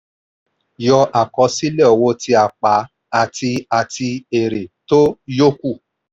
yọ àkọsílẹ̀ owó tí a pa àti àti èrè tó yókù.